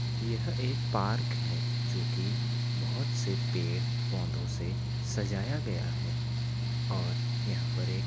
यह एक पार्क है जोकि बहुत से पेड़ पोधो से सजाया गया है और यहाँ पे एक --